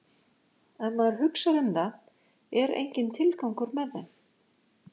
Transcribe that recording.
Ef maður hugsar um það er enginn tilgangur með þeim.